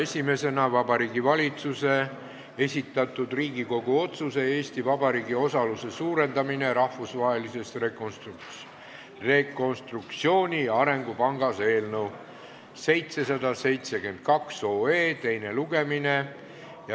Esimene punkt on Vabariigi Valitsuse esitatud Riigikogu otsuse "Eesti Vabariigi osaluse suurendamine Rahvusvahelises Rekonstruktsiooni- ja Arengupangas" eelnõu 772 teine lugemine.